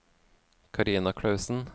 Karina Klausen